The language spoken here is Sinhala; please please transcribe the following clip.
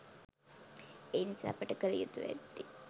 එනිසා අපට කළ යුතුව ඇත්තේ